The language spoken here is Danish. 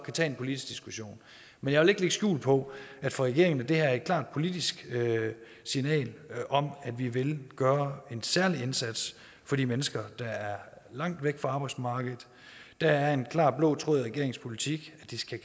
tage en politisk diskussion men jeg vil ikke lægge skjul på at for regeringen er det her et klart politisk signal om at vi vil gøre en særlig indsats for de mennesker der er langt væk fra arbejdsmarkedet der er en klar blå tråd i regeringens politik at det skal